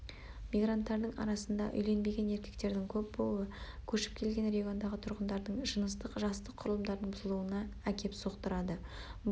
мигранттардың арасында үйленбеген еркектердің көп болуы көшіп келген региондағы тұрғындардың жыныстық-жастық құрылымдарының бұзылуына әкеп соқтырады бұл